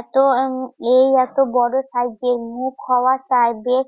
এত উম এই এত বড় সাইজের মুখ হওয়ার সাইড দিয়ে